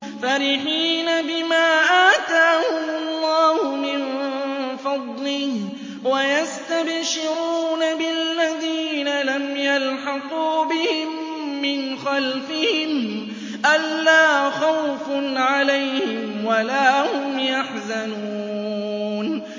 فَرِحِينَ بِمَا آتَاهُمُ اللَّهُ مِن فَضْلِهِ وَيَسْتَبْشِرُونَ بِالَّذِينَ لَمْ يَلْحَقُوا بِهِم مِّنْ خَلْفِهِمْ أَلَّا خَوْفٌ عَلَيْهِمْ وَلَا هُمْ يَحْزَنُونَ